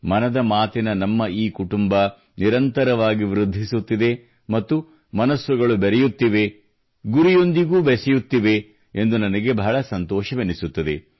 ಮನದ ಮಾತಿನ ನಮ್ಮ ಈ ಕುಟುಂಬ ನಿರಂತರವಾಗಿ ವೃದ್ಧಿಸುತ್ತಿದೆ ಮತ್ತು ಮನಸ್ಸುಗಳು ಬೆರೆಯುತ್ತಿವೆ ಗುರಿಯೊಂದಿಗೂ ಬೆಸೆಯುತ್ತಿವೆ ಎಂದು ನನಗೆ ಬಹಳ ಸಂತೋಷವೆನಿಸುತ್ತದೆ